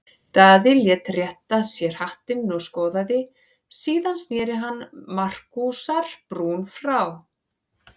Daði lét rétta sér hattinn og skoðaði, síðan sneri hann Markúsar-Brún frá.